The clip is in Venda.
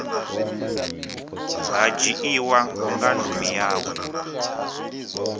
ha dzhiiwa nga ndumi yawe